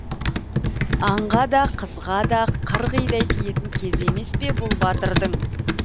аңға да қызға да қырғидай тиетін кезі емес пе бұл батырдың